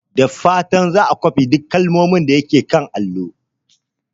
Da fatan za a kwafi duk kalmomin da ke kan allo.